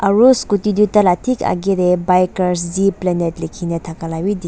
aru scooty tae taila thik akae tae bikers likhina thaka lawi--